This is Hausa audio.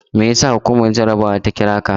Me yasa hukumar jarabawa ta kira ka?